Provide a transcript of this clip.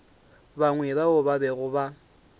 bangwe bao ba bego ba